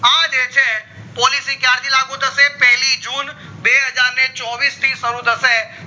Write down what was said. આ જે છે policy ક્યારથી લાગુ થશે પેલી june બે હજાર ને ચોવીસ થી શરુ થશે